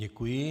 Děkuji.